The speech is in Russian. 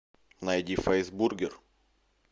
найди фэйс бургер